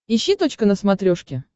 ищи точка на смотрешке